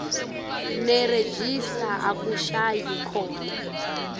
nerejista akushayi khona